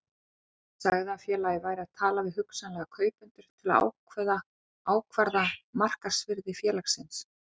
Hann sagði að félagið væri að tala við hugsanlega kaupendur til að ákvarða markaðsvirði félagsins.